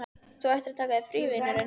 Þú ættir að taka þér frí, vinurinn.